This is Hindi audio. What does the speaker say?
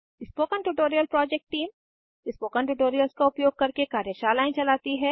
spoken tutorial project team spoken tutorials का उपयोग करके कार्यशालाएं चलाती है